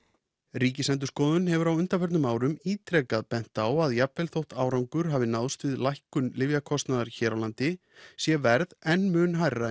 Ríkisendurskoðun hefur á undanförnum árum ítrekað bent á að jafnvel þótt árangur hafi náðst við lækkun lyfjakostnaðar hér á landi sé verð enn mun hærra